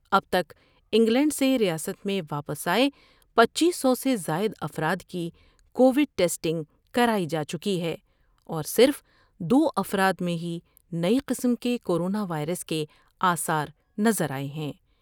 اب تک انگلینڈ سے ریاست میں واپس آۓ پنچیس سو سے زائد افراد کی کوڈ ٹیسٹنگ کرائی جا چکی ہے ، اور صرف دوافراد میں ہی نئی قسم کے کورونا وائرس کے آثار نظر آۓ ہیں ۔